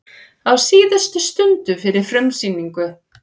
Á síðustu stundu fyrir frumsýningu